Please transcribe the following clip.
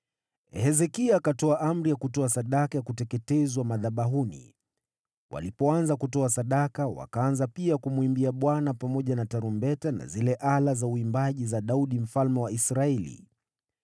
Hezekia akatoa amri ya kutoa sadaka ya kuteketezwa madhabahuni. Walipoanza kutoa sadaka, wakaanza pia kumwimbia Bwana pamoja na tarumbeta na zile ala za uimbaji za Daudi mfalme wa Israeli.